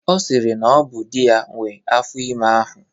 Ọ sịrị na ọ bụ di ya nwee afọ ime ahụ.